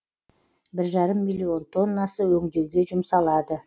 бір жарым миллион тоннасы өңдеуге жұмсалады